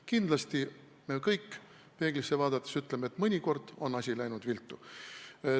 Kindlasti me kõik peeglisse vaadates ütleme, et mõnikord on asi läinud viltu.